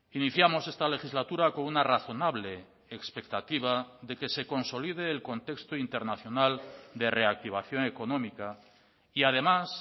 iniciamos esta legislatura con una razonable expectativa de que se consolide el contexto internacional de reactivación económica y además